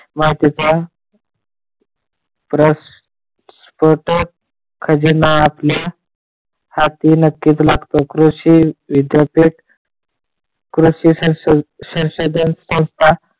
वाहतूक क्रश, पेट्रोल खजिना आपल्या हाती नक्कीच लागते कृषी विद्यापीठ कृषी संस्थापित संस्था,